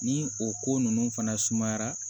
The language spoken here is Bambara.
Ni o ko ninnu fana sumayara